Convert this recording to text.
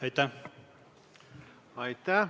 Aitäh!